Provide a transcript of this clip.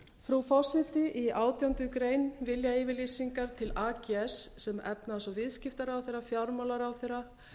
frú forseti í átjándu grein viljayfirlýsingar til ags sem efnahags og viðskiptaráðherra fjármálaráðherra